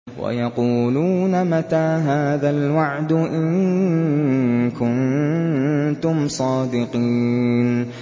وَيَقُولُونَ مَتَىٰ هَٰذَا الْوَعْدُ إِن كُنتُمْ صَادِقِينَ